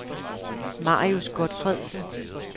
Marius Gotfredsen